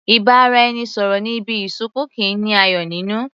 Ìbáraẹnisọ̀rọ̀ ní ibi ìsìnkú kìí ní ayọ̀ nínú.